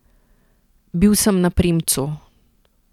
Bil sem na premcu.